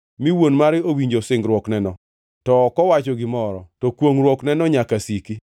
mi wuon mare owinjo singruokneno to ok owacho gimoro, to kwongʼruokneno nyaka siki.